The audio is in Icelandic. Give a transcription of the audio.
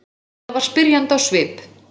Lilla var spyrjandi á svip.